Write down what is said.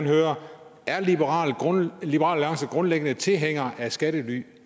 høre er liberal alliance grundlæggende tilhænger af skattelylande